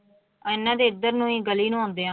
ਇਹਨਾਂ ਦੇ ਇੱਧਰ ਨੂੰ ਹੀ ਗਲੀ ਨੂੰ ਆਉਂਦਿਆਂ।